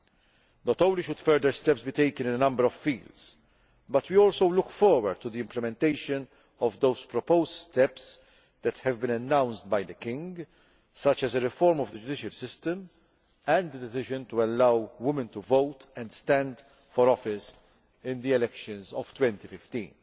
Not only should further steps be taken in a number of fields, but we also look forward to the implementation of the proposed steps that have been announced by the king, such as a reform of the judicial system and the decision to allow women to vote and stand for office in the elections of 2015.